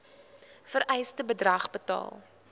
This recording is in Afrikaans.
vereiste bedrag betaal